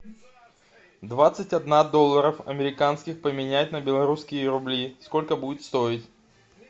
двадцать одна долларов американских поменять на белорусские рубли сколько будет стоить